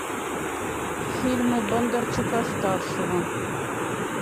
фильмы бондарчука старшего